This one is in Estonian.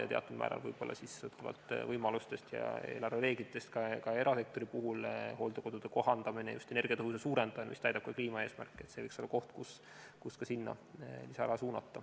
Ja teatud määral võib-olla sõltuvalt võimalustest ja eelarvereeglitest ka erasektori puhul hooldekodude kohaldamine, just energiatõhususe suurendamine, mis täidab ka kliimaeesmärke – see võiks olla ka koht, kuhu lisaraha suunata.